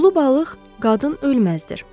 Ulu balıq qadın ölməzdir.